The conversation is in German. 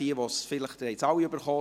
Sie haben es alle bekommen: